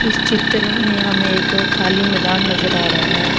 इस चित्र में हमे एक खाली मैदान नजर आ रहा है।